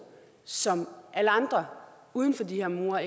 som alle andre uden for de her mure